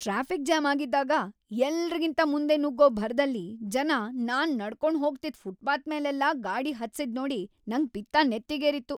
Traffic jam ಆಗಿದ್ದಾಗ ಎಲ್ರಿಗಿಂತ ಮುಂದೆ ನುಗ್ಗೋ ಭರದಲ್ಲಿ ಜನ ನಾನ್ ನಡ್ಕೊಂಡ್ ಹೋಗ್ತಿದ್ ಫುಟ್ಪಾತ್ಮೇಲೆಲ್ಲ ಗಾಡಿ ಹತ್ಸಿದ್ನೋಡಿ ನಂಗ್‌ ಪಿತ್ತ ನೆತ್ತಿಗೇರಿತ್ತು.